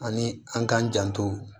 Ani an k'an janto